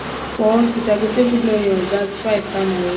for office i go say good morning oga before i start my work